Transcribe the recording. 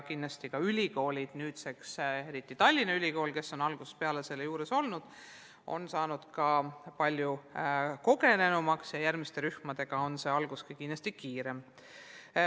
Kindlasti on ülikoolid, eriti Tallinna Ülikool, kes on algusest peale selle juures olnud, saanud ka palju kogenumaks ja järgmiste rühmadega on see algus kindlasti kiirem.